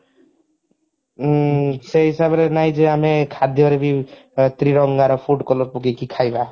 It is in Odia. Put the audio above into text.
ଉଁ ସେଇ ହିସାବରେ ନାହିଁ ଯେ ଆମେ ଖାଦ୍ୟ ରେ ବି ତିରଙ୍ଗାର food color ପକେଇକି ଖାଇବା